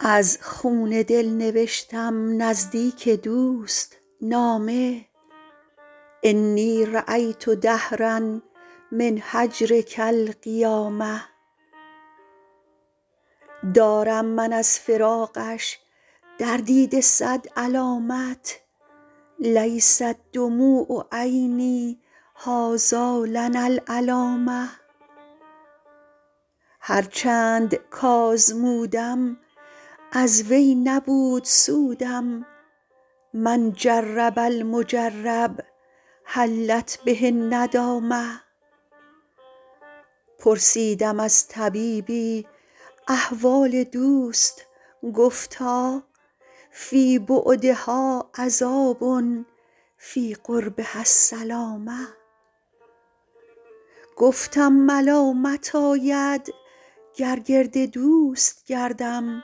از خون دل نوشتم نزدیک دوست نامه انی رأیت دهرا من هجرک القیامه دارم من از فراقش در دیده صد علامت لیست دموع عینی هٰذا لنا العلامه هر چند کآزمودم از وی نبود سودم من جرب المجرب حلت به الندامه پرسیدم از طبیبی احوال دوست گفتا فی بعدها عذاب فی قربها السلامه گفتم ملامت آید گر گرد دوست گردم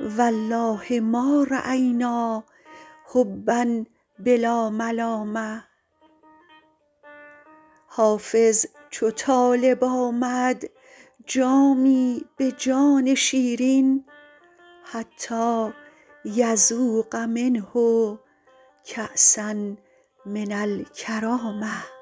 و الله ما رأینا حبا بلا ملامه حافظ چو طالب آمد جامی به جان شیرین حتیٰ یذوق منه کأسا من الکرامه